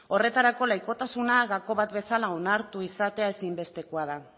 horretarako laikotasuna gako bat bezala onartua izatea ezinbestekoa da